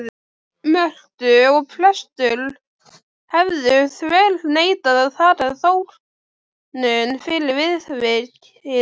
Mörtu að prestur hefði þverneitað að taka þóknun fyrir viðvikið.